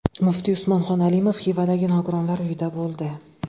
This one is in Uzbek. Muftiy Usmonxon Alimov Xivadagi nogironlar uyida bo‘ldi.